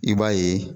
I b'a ye